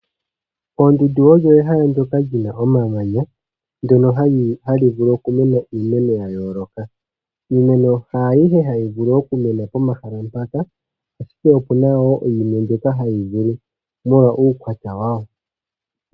Oondundu odho ehala ndyoka lina omamanya , ndyono hali vulu okumena iimeno yayooloka . Iimeno haayihe hayi vulu okumena pomahala mpaka , ashike opuna wo mbyoka hayi vulu molwa uukwatya wawo .